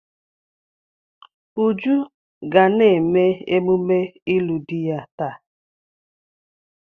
Uju ga na-eme emume ịlụ di ya taa.